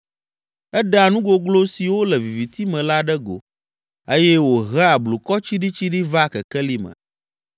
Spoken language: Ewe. Eɖea nu goglo siwo le viviti me la ɖe go eye wòhea blukɔ tsiɖitsiɖi vaa kekeli me.